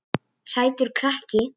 Sætur krakki!